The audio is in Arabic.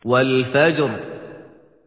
وَالْفَجْرِ